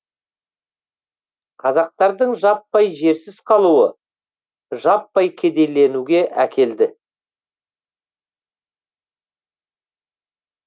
қазақтардың жаппай жерсіз қалуы жаппай кедейленуге әкелді